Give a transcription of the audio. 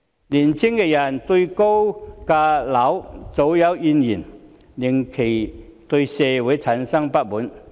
年青人對高樓價早有怨言，令其對社會產生不滿。